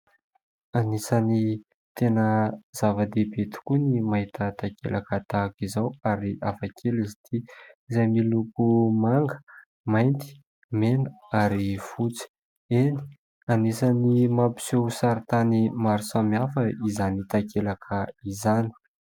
Anisany tena zava-dehibe ny mahita takelaka tahaka izao ary hafakely izy ity, izay miloko manga, mainty, mena ary fotsy. Eny, anisany mampiseho saritany maro samihafa izany takelaka izany.